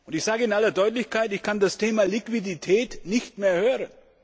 Ich sage in aller Deutlichkeit Ich kann das Wort Liquidität nicht mehr hören.